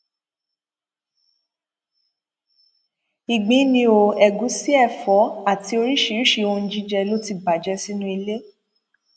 ìgbín ni ó ẹgúsí ẹfọ àti oríṣiríṣiì ohun jíjẹ ló ti bàjẹ sínú ilé